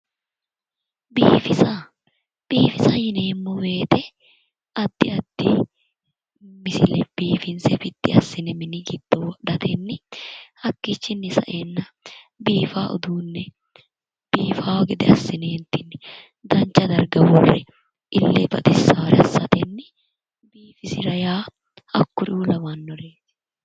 biifisa biifisa yineemmowoyite addi addi misile biifinse biddi assine mini giddo wodhatenni hakkiichinni saeenna biifaa uduunne biifaa gede assine dancha darga worre ille baxisaare assine misile yaa hakkonneeti